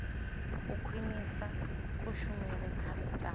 u khwinisa kushumele kha mitambo